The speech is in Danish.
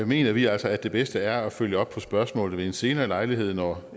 mener vi altså at det bedste er at følge op på spørgsmålet ved en senere lejlighed når